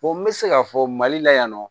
Fo n bɛ se k'a fɔ mali la yan nɔ